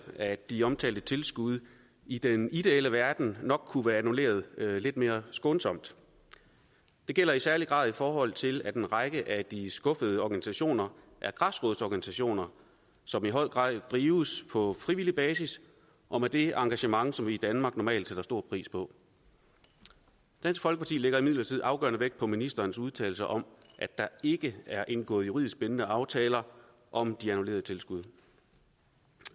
at de omtalte tilskud i den ideelle verden nok kunne være annulleret lidt mere skånsomt det gælder i særlig grad i forhold til at en række af de skuffede organisationer er græsrodsorganisationer som i høj grad drives på frivillig basis og med det engagement som vi i danmark normalt sætter stor pris på dansk folkeparti lægger imidlertid afgørende vægt på ministerens udtalelse om at der ikke er indgået juridisk bindende aftaler om de annullerede tilskud